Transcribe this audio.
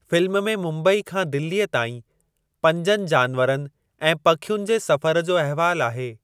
Film में मुम्बई खां दिल्लीअ ताईं पंजनि जानवरनि ऐं पखियुनि जे सफ़र जो अहवालु आहे।